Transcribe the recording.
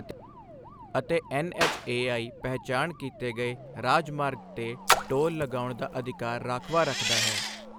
ਅਤੇ ਐੱਨਐੱਚਏਆਈ ਪਹਿਚਾਣ ਕੀਤੇ ਗਏ ਰਾਜਮਾਰਗ ਤੇ ਟੋਲ ਲਗਾਉਣ ਦਾ ਅਧਿਕਾਰ ਰਾਖਵਾ ਰੱਖਦਾ ਹੈ।